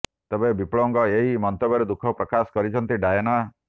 ତେବେ ବିପ୍ଳବଙ୍କ ଏହି ମନ୍ତବ୍ୟରେ ଦୁଃଖ ପ୍ରକାଶ କରିଛନ୍ତି ଡ଼ାଏନା